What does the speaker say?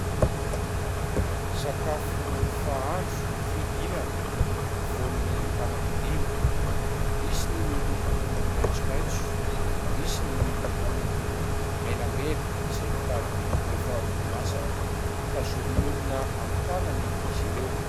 Sakafo fahandro fihinana voany anankidimy : misy ny miloko maitsomaitso, misy ny miloko menamena izay mitady efa ho masaka tazomin'olona amin'ny tanany izy ireo.